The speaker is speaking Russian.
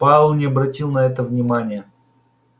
пауэлл не обратил на это внимания